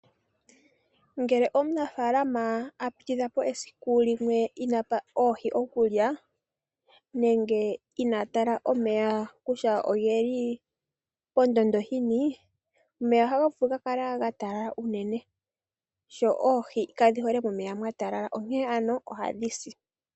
Ngele omunafaalama a pititha po esiku limwe inaapa oohi okulya nenge inaa tala omeya kutya ogeli pondondo yini? Omeya ohaga vulu okukala ga talala unene sho oohi kadhi hole momeya mwa talala onkene ano ohadhi si.